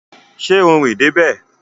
Ṣé o rìn dé bẹ̀?